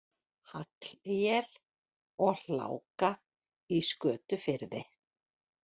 Haglél og hálka í Skötufirði